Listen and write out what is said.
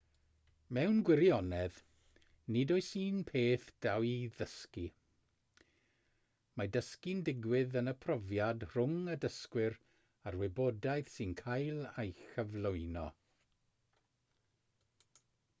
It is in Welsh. mewn gwirionedd nid oes un peth da i'w ddysgu mae dysgu'n digwydd yn y profiad rhwng y dysgwr a'r wybodaeth sy'n cael ei chyflwyno